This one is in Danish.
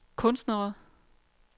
kunstnere